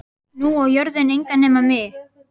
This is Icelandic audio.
Og nú á jörðin engan að nema mig.